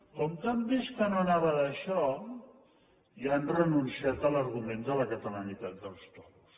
com que han vist que no anava d’això ja han renunciat a l’argument de la catalanitat dels toros